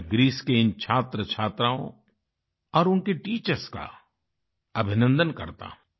मैं ग्रीस के इन छात्र छात्राओं और उनके टीचर्स का अभिनन्दन करता हूँ